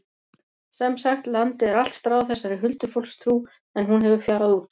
Sem sagt, landið er allt stráð þessari huldufólkstrú en hún hefur fjarað út.